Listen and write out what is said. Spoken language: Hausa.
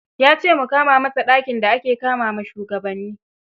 Ya ce mu kama masa dakin da ake kama wa shugabanni.